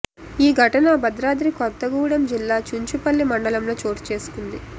ఈ ఘటన భద్రాద్రి కొత్తగూడెం జిల్లా చుంచుపల్లి మండలంలో చోటు చేసుకుంది